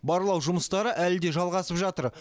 барлау жұмыстары әлі де жалғасып жатыр